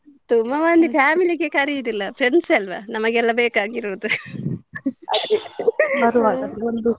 ತುಂಬಾ ಮಂದಿ family ಗೆ ಕರಿಯೋದಿಲ್ಲ friends ಅಲ್ವಾ ನಮಗೆಲ್ಲಾ ಬೇಕಾಗಿರೋದು .